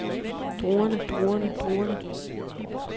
druerne druerne druerne